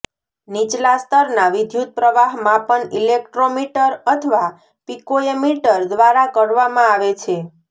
નીચલા સ્તરના વિદ્યુતપ્રવાહ માપનઇલેક્ટ્રોમીટર અથવા પિકોએમીટર દ્વારા કરવામાં આવે છે